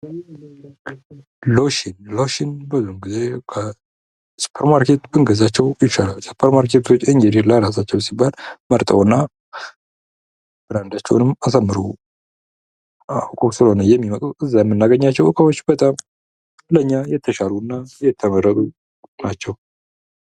ሎሽን ፦ ሎሽን ብዙውን ጊዜ ከሱፐርማርኬት ብንገዛቸው ይሻላል ። ሱፐርማርኬቶች እንግዲህ ለራሳቸው ሲባል መርጠው እና ብራንዳቸውንም አሳምረው ፣ አውቀው ስለሆነ የሚመጡት እዛ የምናገኛቸው ዕቃዎች በጣም ለኛ የተሻሉ እና የተመረጡ ናቸው ።